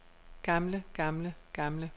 gamle gamle gamle